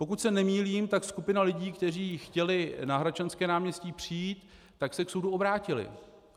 Pokud se nemýlím, tak skupina lidí, kteří chtěli na Hradčanské náměstí přijít, tak se k soudu obrátili.